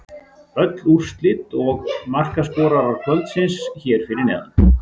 Öll úrslit og markaskorarar kvöldsins hér fyrir neðan: